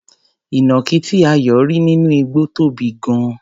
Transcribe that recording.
Ìnàkí tí Ayọ̀ rí nínú igbó tóbi gan-an.